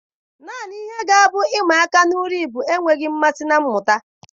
Naanị ihe ga-abụ ihe ịma aka maka uri bụ enweghị mmasị na mmụta.